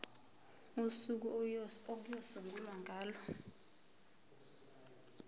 usuku okuyosungulwa ngalo